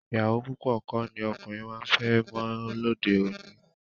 Ìyàwó púpọ̀ kọ́ ni ọkùnrin máa ń fẹ́ mọ́ lóde òní